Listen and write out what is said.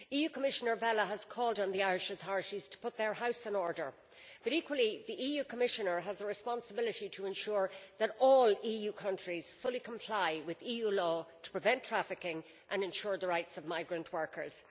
Commissioner Vella has called on the Irish authorities to put their house in order but, equally, the Commissioner has a responsibility to ensure that all EU countries fully comply with EU law to prevent trafficking and ensure the rights of migrant workers.